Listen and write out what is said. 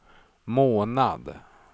månad